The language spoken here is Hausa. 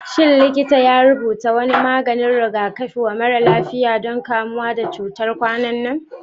Shin likita ya rubuta wani maganin rigakafi wa mara lafiyan don kamuwa da cutar kwanan nan?